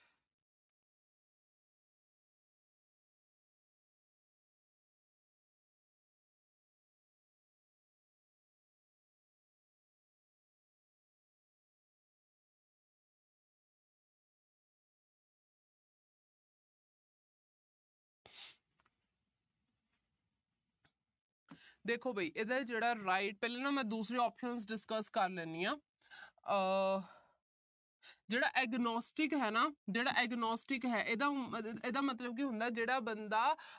ਦੇਖੋ ਵੀ ਇਹਦਾ ਜਿਹੜਾ right ਪਹਿਲਾਂ ਨਾ ਮੈਂ ਦੂਸਰੇ options discuss ਕਰ ਲੈਂਦੀ ਆ। ਆਹ ਜਿਹੜਾ agnostic ਹੈ, ਜਿਹੜਾ agnostic ਹੈ, ਇਹਦਾ ਅਹ ਇਹਦਾ ਮਤਲਬ ਕੀ ਹੁੰਦਾ ਜਿਹੜਾ ਬੰਦਾ